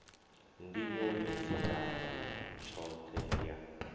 nḓivho yo dziaho tshoṱhe ya